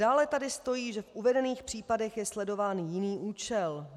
Dále tady stojí, že v uvedených případech je sledován jiný účel.